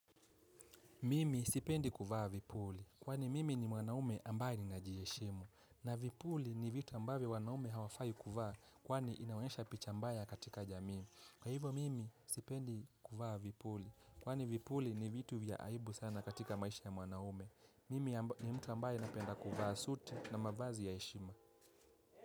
Mimi sipendi kuvaa vipuli, kwani mimi ni mwanaume ambaye ninajiheshimu. Na vipuli ni vitu ambavyo wanaume hawafai kuvaa, kwani inaonyesha picha mbaya katika jamii. Kwa hivyo mimi sipendi kuvaa vipuli, kwani vipuli ni vitu vya aibu sana katika maisha ya mwanaume. Mimi ni mtu ambaye napenda kuvaa suti na mavazi ya heshima.